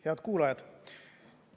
Head kuulajad!